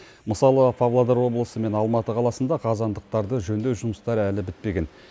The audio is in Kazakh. мысалы павлодар облысы мен алматы қаласында қазандықтарды жөндеу жұмыстары әлі бітпеген